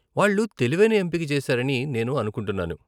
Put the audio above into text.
వాళ్ళు తెలివైన ఎంపిక చేసారని నేను అనుకుంటున్నాను.